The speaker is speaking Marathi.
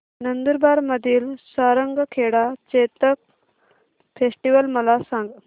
नंदुरबार मधील सारंगखेडा चेतक फेस्टीवल मला सांग